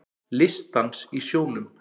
Listdans í sjónum